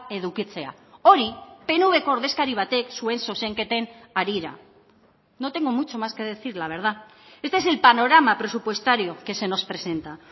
edukitzea hori pnvko ordezkari batek zuen zuzenketen harira no tengo mucho más que decir la verdad este es el panorama presupuestario que se nos presenta